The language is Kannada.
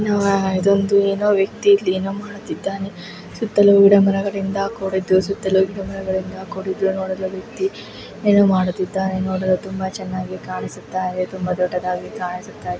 ಅಹ್ ಇದೊಂದು ಏನೋ ವ್ಯಕ್ತಿ ಇಲ್ ಏನೋ ಮಾಡುತ್ತಿದ್ದಾನೆ ಸುತ್ತಲೂ ಗಿಡ ಮರಗಳಿಂದ ಕೂಡ್ದಿದ್ದು ಸುತ್ತಲೂ ಗಿಡ ಮರಗಳಿಂದ ಕೂಡ್ದಿದ್ದು ನೋಡಲು ವ್ಯಕ್ತಿ ಏನೋ ಮಾಡುತ್ತಿದ್ದಾನೆ ನೋಡಲು ತುಂಬಾ ಚನ್ನಾಗಿ ಕಾಣಿಸ್ತಾ ಇದೆ ತುಂಬಾ ದೊಡ್ಡದಾಗಿ ಕಾಣಿಸುತಾ ಇದೆ.